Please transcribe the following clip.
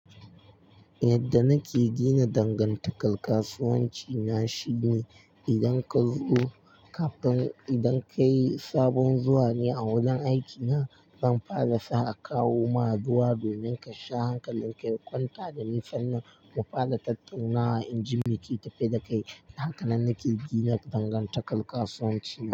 Yadda nake gina dangantakar kasuwanci na shine, idan ka zo kafin idan ka yi sabon zuwa ne a wurin aikina, zan fara sa a kawo ma ruwa domin ka sha, hakanlin ka ya kwanta da ni sannan mu fara tattaunawa in ji me ke tafe da kai. Hakanan nake gina dangantakar kasuwanci.